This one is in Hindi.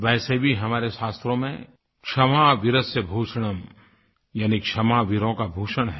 वैसे भी हमारे शास्त्रों में क्षमा वीरस्य भूषणम् यानि क्षमा वीरों का भूषण है